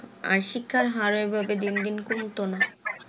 আর শিক্ষার হার ওই ভাবে দিন দিন কমতো না